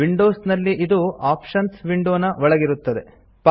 Windows ನಲ್ಲಿ ಇದು options window ನ ಒಳಗಿರುತ್ತದೆ